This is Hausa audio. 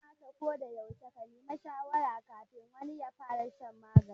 Ya kamata ko da yaushe a neme shawarar kafin wani ya fara shan wani magani